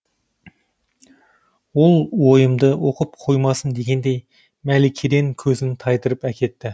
ол ойымды оқып қоймасын дегендей мәликеден көзін тайдырып әкетті